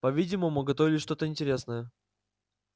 по видимому готовилось что то интересное